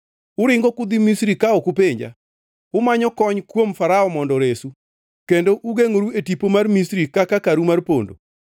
uringo kudhi Misri ka ok upenja, umanyo kony kuom Farao mondo oresu, kendo ugengʼoru e tipo mar Misri kaka karu mar pondo.